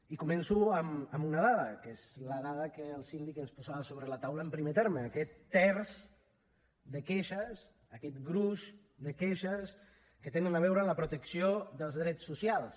i començo amb una dada que és la dada que el síndic ens posava a sobre de la taula en primer terme aquest terç de queixes aquest gruix de queixes que tenen a veure amb la protecció dels drets socials